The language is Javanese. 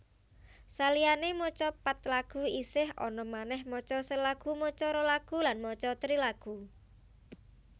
Saliyané maca pat lagu isih ana manèh maca sa lagu maca ro lagu lan maca tri lagu